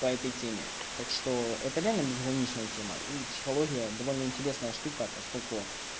по этой теме так что это реально безграничная тема и психология довольно интересная штука поскольку